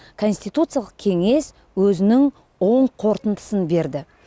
конституциялық кеңес өзінің оң қорытындысын берді